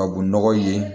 Tubabu nɔgɔ ye